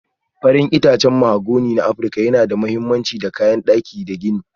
Farin itacen mahogani na Afirka yana da mahimmanci ga kayan daki da gini.